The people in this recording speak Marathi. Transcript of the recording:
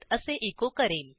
असे एचो करेल